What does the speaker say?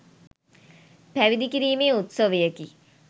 පැවිදි කිරීමේ උත්සවයකි.